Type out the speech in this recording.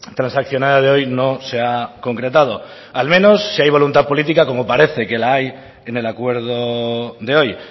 transaccionada de hoy no se ha concretado al menos si hay voluntad política como parece que la hay en el acuerdo de hoy